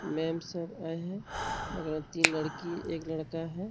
Ma'am sir आये है। बगल मे तीन लड़की एक लड़का है।